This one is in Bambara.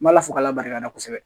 N b'ala fo k'ala barika da kosɛbɛ